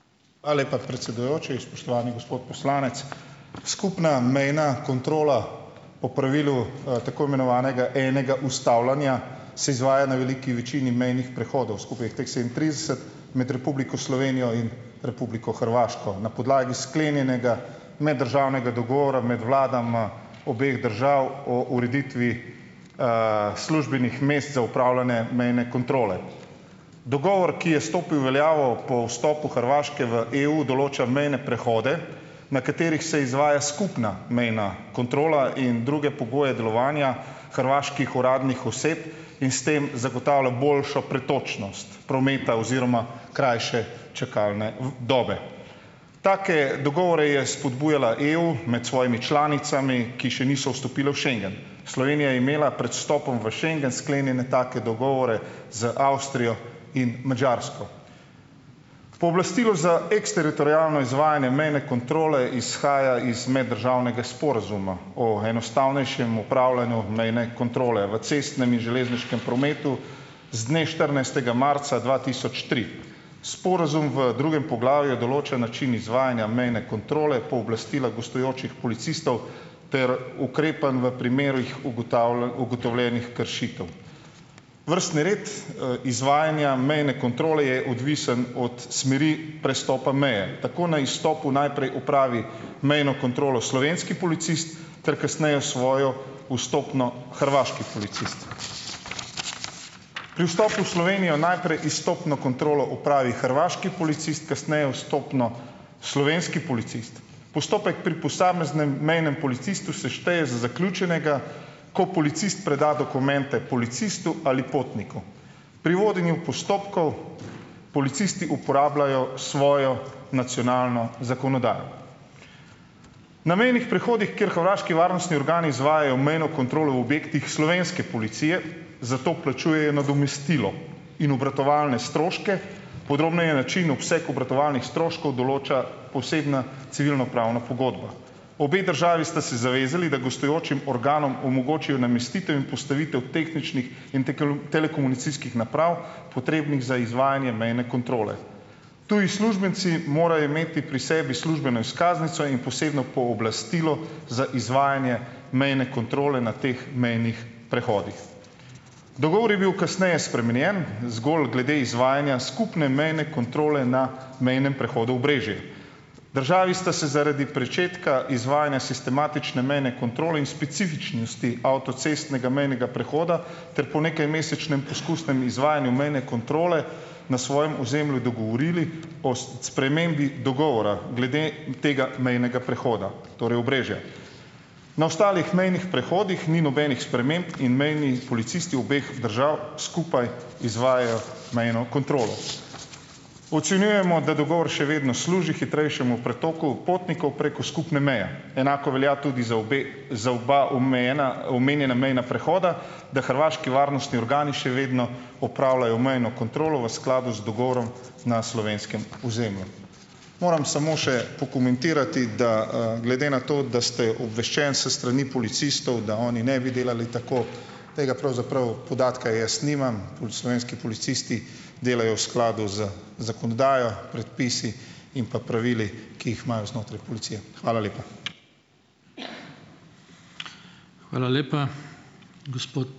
Ala lepa, predsedujoči, spoštovani gospod poslanec. Skupna mejna kontrola po pravilu tako imenovanega enega ustavljanja, se izvaja na veliki večini mejnih prehodov. Skupaj je teh sedemintrideset med Republiko Slovenijo in Republiko Hrvaško. Na podlagi sklenjenega meddržavnega dogovora med vladama obeh držav o ureditvi službenih mest za upravljanje mejne kontrole. Dogovor, ki je stopil v veljavo po vstopu Hrvaške v EU, določa mejne prehode, na katerih se izvaja skupna mejna kontrola in druge pogoje delovanja hrvaških uradnih oseb, in s tem zagotavlja boljšo pretočnost prometa oziroma krajše čakalne dobe. Take dogovore je spodbujala EU med svojimi članicami, ki še niso vstopile v schengen. Slovenija je imela pred vstopom v schengen sklenjene take dogovore z Avstrijo in Madžarsko. Pooblastilo za eksteritorialno izvajanje mejne kontrole izhaja iz meddržavnega sporazuma o enostavnejšem upravljanju mejne kontrole v cestnem in železniškem prometu z dne štirinajstega marca dva tisoč tri. Sporazum v drugem poglavju je določen način izvajanja mejne kontrole, pooblastila gostujočih policistov ter ukrepanj v primerih ugotovljenih kršitev. Vrstni red izvajanja mejne kontrole je odvisen od smeri prestopa meje. Tako na izstopu najprej opravi mejno kontrolo slovenski policist ter kasneje svojo vstopno hrvaški policist. Pri vstopu v Slovenijo najprej izstopno kontrolo opravi hrvaški policist, kasneje vstopno slovenski policist. Postopek pri posameznem mejnem policistu se šteje za zaključenega, ko policist preda dokumente policistu ali potniku. Pri vodenju postopkov policisti uporabljajo svojo nacionalno zakonodajo. Na mejnih prehodih, kjer hrvaški varnostni organi izvajajo mejno kontrolo v objektih slovenske policije, zato plačujejo nadomestilo in obratovalne stroške. Podrobneje način obseg obratovalnih stroškov določa posebna civilnopravna pogodba. Obe državi sta se zavezali, da gostujočim organom omogočijo namestitev in postavitev tehničnih in telekomunikacijskih naprav, potrebnih za izvajanje mene kontrole. Tudi uslužbenci morajo imeti pri sebi službeno izkaznico in posebno pooblastilo za izvajanje mejne kontrole na teh mejnih prehodih. Dogovor je bil kasneje spremenjen, zgolj glede izvajanja skupne mejne kontrole na mejnem prehodu Obrežje. Državi sta se zaradi pričetka izvajanja sistematične mejne kontrole in specifičnosti avtocestnega mejnega prehoda ter po nekajmesečnem poskusnem izvajanju mejne kontrole na svojem ozemlju dogovorili o spremembi dogovora glede tega mejnega prehoda, torej Obrežja. Na ostalih mejnih prehodih ni nobenih sprememb in mejni policisti obeh držav skupaj izvajajo mejno kontrolo. Ocenjujemo, da dogovor še vedno služi hitrejšemu pretoku potnikov preko skupne meje. Enako velja tudi za obe za oba obmejena omenjena mejna prehoda, da hrvaški varnostni organi še vedno opravljajo mejno kontrolo v skladu z dogovorom na slovenskem ozemlju. Moram samo še pokomentirati, da glede na to, da ste obveščen s strani policistov, da oni ne bi delali tako, tega pravzaprav podatka jaz nimam. Pol slovenski policisti delajo v skladu z zakonodajo, predpisi in pa pravili, ki jih imajo znotraj policije. Hvala lepa.